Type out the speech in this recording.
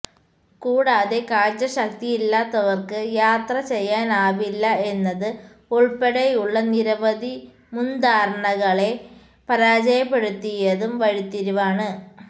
കൂടാതെ കാഴ്ചശക്തി ഇല്ലാത്തവര്ക്ക് യാത്ര ചെയ്യാനാവില്ല എന്നത് ഉള്പ്പെടെയുള്ള നിരവധി മുന്ധാരണകളെ പരാജയപ്പെടുത്തിയതും വഴിത്തിരിവാണ്